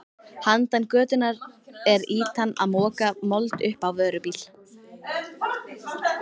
Handan götunnar er ýtan að moka mold upp á vörubíl.